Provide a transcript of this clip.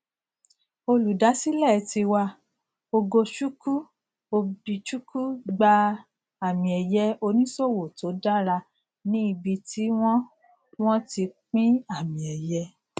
olùdásílẹ tiwa ogochuckwu obchucwu gba àmìẹyẹ oníṣòwò to dára ní ibi tí wón wón ti pín àmìẹyẹ